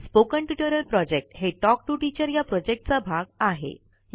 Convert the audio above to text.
spoken tutorial project talk to teacher प्रोजेक्टचा भाग आहे